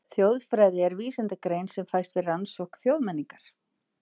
Þjóðfræði er vísindagrein sem fæst við rannsókn þjóðmenningar.